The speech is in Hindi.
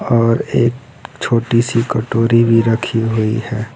और एक छोटी सी कटोरी भी रखी हुई है।